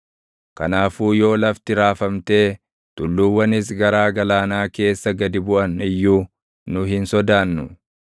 Kanaafuu yoo lafti raafamtee tulluuwwanis garaa galaanaa keessa gadi buʼan iyyuu nu hin sodaannu.